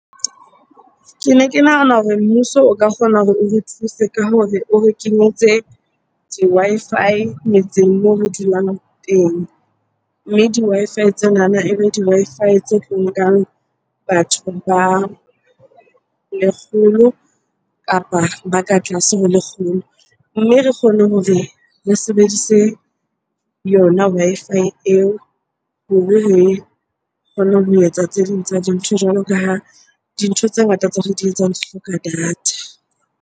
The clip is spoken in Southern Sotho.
Kene ke nahana hore mmuso o ka kgona hore o re thuse ka hore o re kenyetse di-Wi-Fi metseng moo re dulang teng. Mme di-Wi-Fi tsenana e be di-Wi-Fi tse nkang batho ba lekgolo kapa ba ka tlase ho lekgolo. Mme re kgone hore re sebedise yona Wi-Fi eo hore re kgone ho etsa tse ding tsa dintho. Jwalo ka ha dintho tse ngata tseo re di etsang di hloka data.